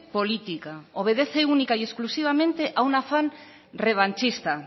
política obedece única y exclusivamente a un afán revanchista